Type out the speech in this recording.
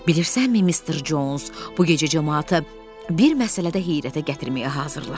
Bilirsənmi, Mister Cons, bu gecə camaatı bir məsələdə heyrətə gətirməyə hazırlaşır.